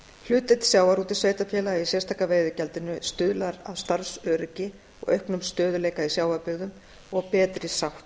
hlutdeild sjávarútvegssveitarfélaga í sérstaka veiðigjaldinu stuðlar að starfsöryggi og auknum stöðugleika í sjávarbyggðum og betri sátt